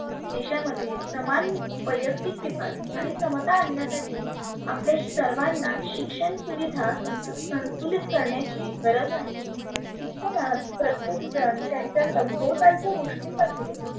देशामध्ये समान वयक्तीक विकास आणि समता आनण्यासाठी आपले सर्वांना शिक्षण सुविधा संस संतुलित करण्याची गरज आहे. शिक्षणात प्रत्येक जन त्यांच्या सभोवतालच्या गोष्टींमध्ये